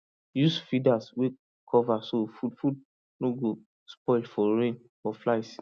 use feeder wey cover so food food no go spoil for rain or flies